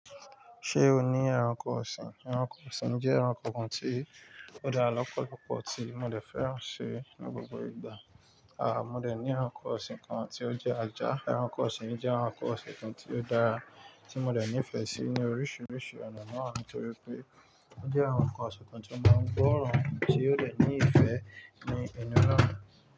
Ṣé o ní ẹranko ọ̀sìn? Ẹranko ọ̀sìn jẹ́ ẹranko kan tí ó dá lọ́pọ̀lọ́pọ̀ tí mo lè fẹ́ràn ṣe ní gbogbo ìgbà. À mo dè ní ẹranko ọ̀sìn kan tí ó jẹ́ ajá. Ẹranko ọ̀sìn jẹ́ ẹranko ọ̀sìn kan tí ó dára tí mo dẹ̀ nífẹ̀ẹ́ sí ní oríṣiríṣi ọ̀nà náà nitorí pé ó jẹ́ ẹranko ọ̀sìn kan tó máa ń gbóran tí ó lè ní ìfẹ́ ní inú rárá.